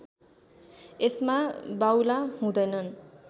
यसमा बाउला हुँदैनन्